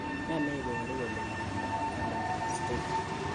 Nee neiparu kole miondop Hallermann Streiff